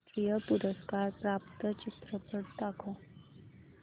राष्ट्रीय पुरस्कार प्राप्त चित्रपट दाखव